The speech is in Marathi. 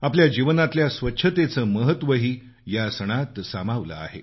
आपल्या जीवनातल्या स्वच्छतेचं महत्वही या सणात सामावलं आहे